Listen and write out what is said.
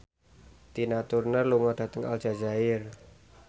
Tina Turner lunga dhateng Aljazair